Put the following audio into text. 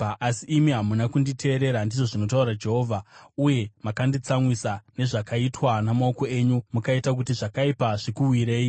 “Asi imi hamuna kunditeerera,” ndizvo zvinotaura Jehovha, “uye makanditsamwisa nezvakaitwa namaoko enyu, mukaita kuti zvakaipa zvikuwirei.”